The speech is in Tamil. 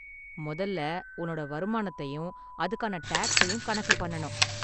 முதல்ல உன்னோட வருமானத்தையும் அதுக்கான டேக்ஸையும் கணக்கு பண்ணனும்.